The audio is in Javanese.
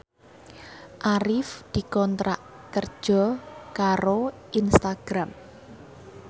Arif dikontrak kerja karo Instagram